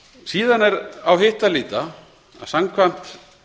síðan er á hitt að líta að samkvæmt